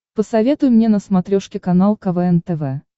посоветуй мне на смотрешке канал квн тв